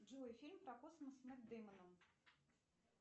джой фильм про космос с нэт деймоном